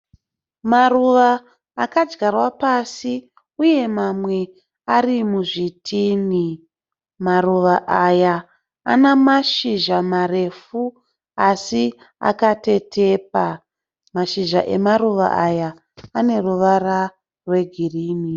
Maruva akadyarwa pasi uye mamwe ari muzvitini. Maruva aya ane mashizha marefu asi akatetepa. Mashizha emaruva aya ane ruvara rwegirini.